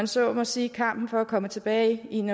så må sige kampen for at komme tilbage i en